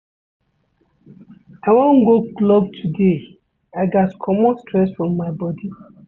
I wan go club today, I gats comot stress from my bodi.